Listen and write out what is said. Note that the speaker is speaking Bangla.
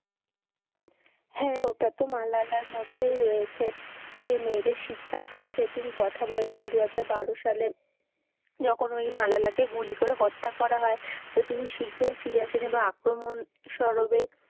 হ্যাঁ ওটা তো মালালার মধ্যেই রয়েছে যে মেয়েদের শিক্ষার পক্ষে তিনি কথা বলেছেন দু হাজার বারো সালে যখন ওই মালালাকে গুলি করে হত্যা করা হয় তো তিনি শীঘ্রই ফিরে আসেন এবং আক্রমণ সরবে,